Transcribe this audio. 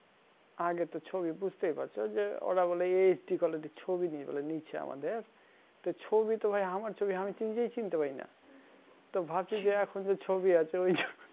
আগে তো ছবি বুজতেই পড়ছো যে ওরা বলে HDquality ছবি নিয়ে গেলো নীচে আমাদের তা ছবি তো ভাই আমার ছবি আমি নিজেই চিন্তে পারিনা তো ভাবছি যে এখন যে ছবি আছে ওই